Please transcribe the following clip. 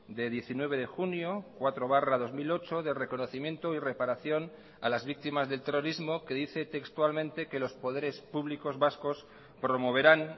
de diecinueve de junio cuatro barra dos mil ocho de reconocimiento y reparación a las víctimas del terrorismo que dice textualmente que los poderes públicos vascos promoverán